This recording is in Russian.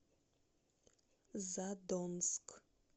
задонск